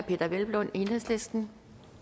peder hvelplund enhedslisten